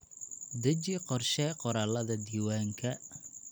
Deji qorshe qoraalada diiwaanka.